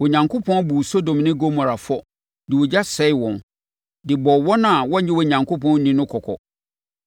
Onyankopɔn buu Sodom ne Gomora fɔ de ogya sɛee wɔn, de bɔɔ wɔn a wɔnnye Onyankopɔn nni no kɔkɔ.